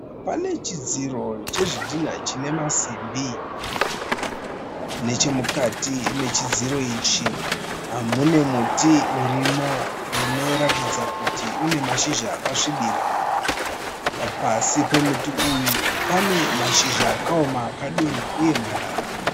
Pane chidziro chezvidhinha chine maasimbi. Neche mukati mechidziro ichi mune muti urimo unoratidza kuti une mashizha akasvibira. Pasi pemuti uyu pane mashizha akaoma akadonha uye marara.